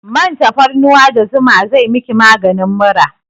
Man tafarnuwa da zuma zai miki maganin mura